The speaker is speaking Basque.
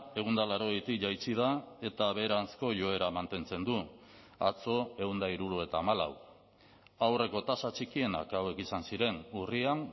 ehun eta laurogeitik jaitsi da eta beheranzko joera mantentzen du atzo ehun eta hirurogeita hamalau aurreko tasa txikienak hauek izan ziren urrian